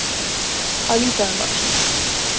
Að líta um öxl